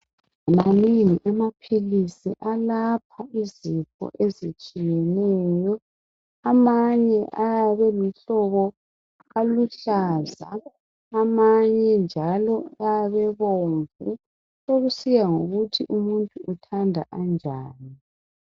Manengi amaphilisi Alapha izifo ezitshiyeneyo ,amanye ayabe eyimihlobo eluhlaza ,amanye njalo ayabe ebomvu sokusiya ngokuthi umuntu uthanda anjani.